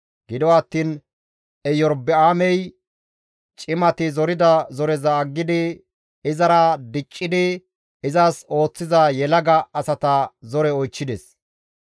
Gido attiin Erobi7aamey cimati zorida zoreza aggidi izara diccidi izas ooththiza yelaga asata zore oychchides.